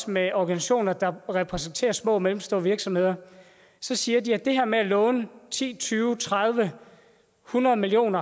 med organisationer der repræsenterer små og mellemstore virksomheder så siger de at det her med at låne ti tyve tredive eller hundrede million